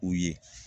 U ye